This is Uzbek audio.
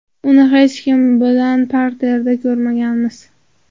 Uni hech kim bilan parterda ko‘rmaganmiz.